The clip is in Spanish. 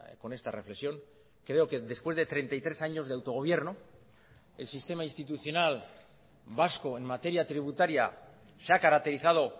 con esta reflexión creo que después de treinta y tres años de autogobierno el sistema institucional vasco en materia tributaria se ha caracterizado